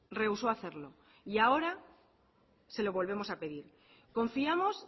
reusó hacerlo y ahora se lo volvemos a pedir confiamos